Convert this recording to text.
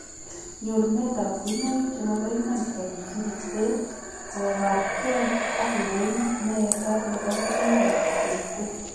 Nyoruneet ab kuinoik chemaboiman chebo kibsirichteet kobaar kee ak ndonyo ne eetat nebo kuinoik ab kibsirichteet